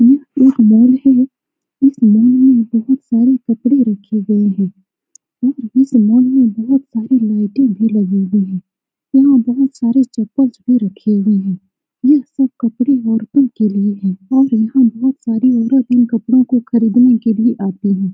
यह एक मॉल है। इस मॉल में बहुत सारे कपड़े रखे गए हैं। और इस मॉल में बहुत सारी लाइटें भी लगी हुई है। यहां बहुत सारे चप्पल्स भी रखे हुए है। यह सिर्फ कपड़े औरतों के लिए है और यहां बहुत सारी औरत इन कपड़ो को खरीदने के लिए आती है।